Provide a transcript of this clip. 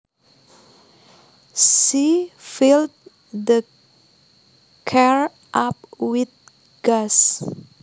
She filled the car up with gas